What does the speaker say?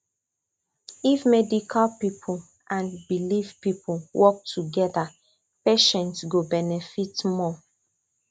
if medical people and belief people work together patients go benefit more